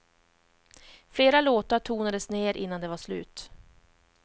Flera låtar tonades ner innan de var slut.